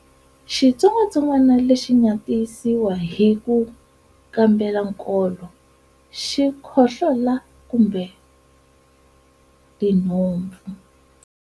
Xitsongwantsongwana lexi nga tiyisisiwa hi ku kambela nkolo, xikhohlola, kumbe tinhompfu.